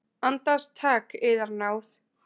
Andartak, yðar náð!